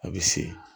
A bɛ se